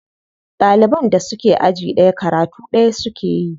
Ɗaliban da suke aji ɗaya karatu ɗaya suke yi.